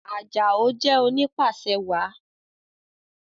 Ajao jé oni pàṣẹwàá